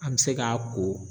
An mi se k'a ko